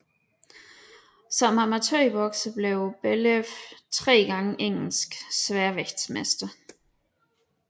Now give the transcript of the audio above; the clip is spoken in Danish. Som amatørbokser blev Bellew 3 gange Engelsk sværvægtsmester